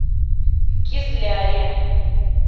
кизляре